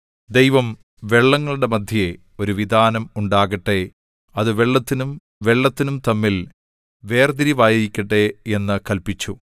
ദൈവം വെള്ളങ്ങളുടെ മദ്ധ്യേ ഒരു വിതാനം ഉണ്ടാകട്ടെ അത് വെള്ളത്തിനും വെള്ളത്തിനും തമ്മിൽ വേർതിരിവായിരിക്കട്ടെ എന്നു കല്പിച്ചു